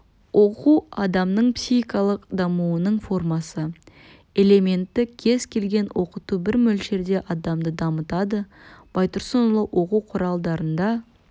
оқу адамның психикалық дамуының формасы элементі кез келген оқыту бір мөлшерде адамды дамытады байтұрсынұлы оқу құралдарында